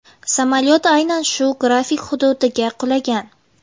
Samolyot aynan shu graflik hududiga qulagan.